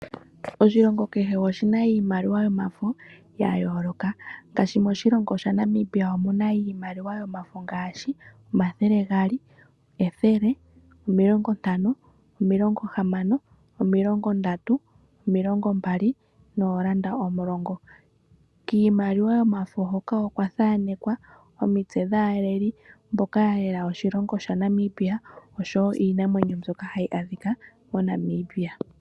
Oshilongo kehe oshina iimaliwa yomafo ya yooloka. Ngaashi moshilongo shaNamibia omuna iimaliwa yomafo ngaashi: omathele gaali, ethele , omilongo ntano , omilongo hamano, omilongo ndatu, omilongo mbali noolanda omulongo. kiimaliwa yomafo hoka okwa thanekwa omitse dhaaleli , mboka yalela oshilongo shaNamibia oshowoo iinamwenyo mbyoka hayi adhika moNamibia